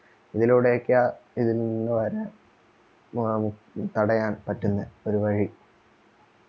ഇതുലൂടൊക്കെയാ ഇതിൽ നിന്ന് വരാൻ തടയാൻ പറ്റുന്ന ഒരു വഴി